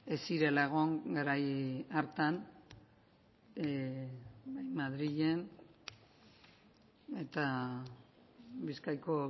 ez zirela egon garai hartan madrilen eta bizkaiko